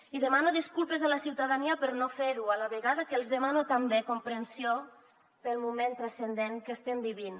i demano disculpes a la ciutadania per no fer ho a la vegada que els demano també comprensió pel moment transcendent que estem vivint